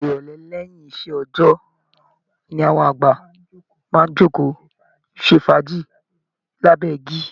Ìrọ̀lẹ́ lẹ́yìn iṣẹ́ òòjọ́ ni àwọn àgbà máa ń jókòó ṣe fàájì lábẹ́ igi